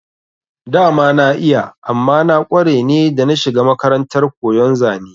Dama na iya amma na kware ne da na shiga makarantar koyon zane